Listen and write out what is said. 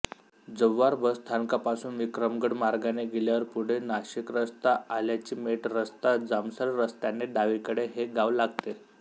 Jawhar bus स्थानकापासून विक्रमगड मार्गाने गेल्यावर पुढे नाशिकरस्ता आल्याचीमेटरस्ता जामसर रस्त्याने डावीकडे हे गाव लागते